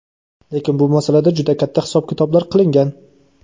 Lekin bu masalada juda katta hisob-kitoblar qilingan.